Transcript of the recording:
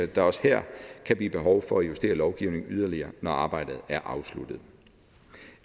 der også her kan blive behov for at justere lovgivningen yderligere når arbejdet er afsluttet